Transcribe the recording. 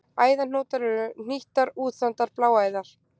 Æðahnútar eru hnýttar, útþandar bláæðar.